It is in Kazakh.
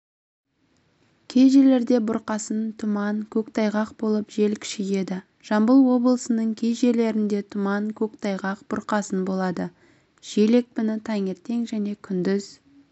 кей жерлерде бұрқасын тұман көктайғақ болып жел күшейеді жамбыл облысының кей жерлерінде тұман көктайғақ бұрқасын болады жел екпіні таңертең және күндіз